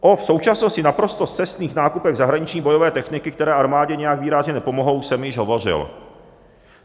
O v současnosti naprosto scestných nákupech zahraniční bojové techniky, které armádě nijak výrazně nepomohou, jsem již hovořil.